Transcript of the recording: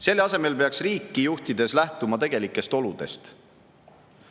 Selle asemel peaks riiki juhtides lähtuma tegelikest oludest.